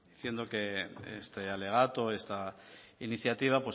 diciendo que este alegato esta iniciativa